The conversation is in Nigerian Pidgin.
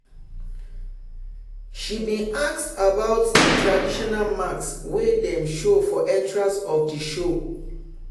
she bin ask about di traditional mask wey dem show for entrance of the show.